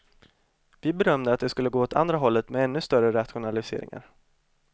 Vi bedömde att det skulle gå åt andra hållet med ännu större rationaliseringar.